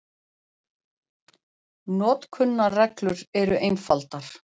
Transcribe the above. Notkunarreglur eru einfaldar.